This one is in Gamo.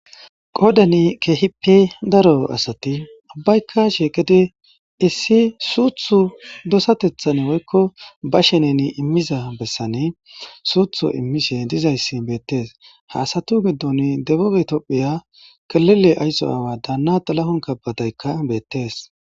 Qoodani keehippe daro asati abbaykashe gede issi suuthu dosatethan woykko ba shenen immiza bessane suuthu immishe dizayssi beettees haasatu giddon deboge tophiya kalile aysso aawa daana xalahon kabadaykka beettees